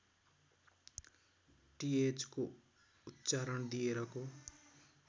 टिएचको उच्चारण दिएरको